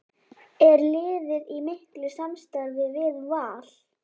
Er liðið í miklu samstarfi við Val?